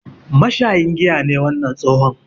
Mashayin giya ne wannan tsohon.